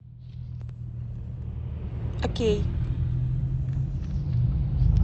окей